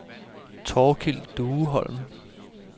Thorkil Dueholm